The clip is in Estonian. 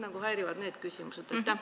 Mind häirivad need küsimused.